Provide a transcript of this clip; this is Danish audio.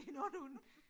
Det en ond hund